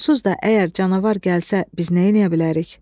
Onsuz da əgər canavar gəlsə biz nə eləyə bilərik?